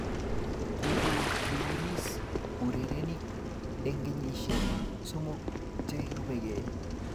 kukutuiris urerenik eng kenyishe somok che rubekei